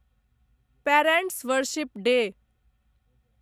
parents' worship day